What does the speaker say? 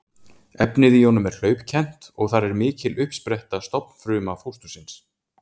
Efnið í honum er hlaupkennt og þar er mikil uppspretta stofnfruma fóstursins.